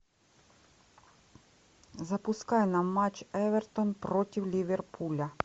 запускай нам матч эвертон против ливерпуля